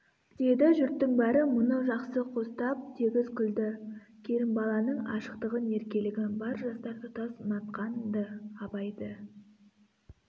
деді жұрттың бәрі мұны жақсы қостап тегіс күлді керімбаланың ашықтығын еркелігін бар жастар тұтас ұнатқан-ды абайды